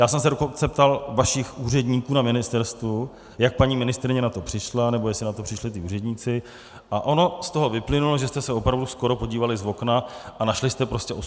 Já jsem se dokonce ptal vašich úředníků na ministerstvu, jak paní ministryně na to přišla, nebo jestli na to přišli ti úředníci - a ono z toho vyplynulo, že jste se opravdu skoro podívali z okna a našli jste prostě 85 let.